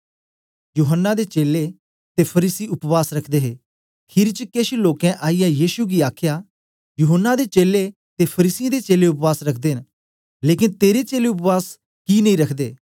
यूहन्ना दे चेलें ते फरीसी उपवास रखदे हे खीरी च केश लोकें आईयै यीशु गी आखया यूहन्ना दे चेलें ते फरीसियें दे चेलें उपवास रखदे न लेकन तेरे चेलें उपवास कि नेई रखदे